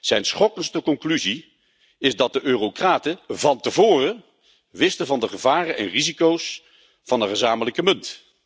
Zijn schokkendste conclusie is dat de eurocraten van tevoren wisten van de gevaren en risico's van een gezamenlijke munt.